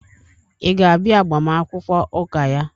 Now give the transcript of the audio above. Ị ga-abịa agbamakwụkwọ ụka ya?